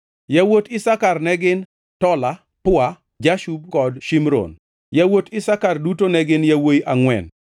Yawuot Isakar ne gin: Tola, Pua, Jashub kod Shimron. Yawuot Isakar duto ne gin yawuowi angʼwen.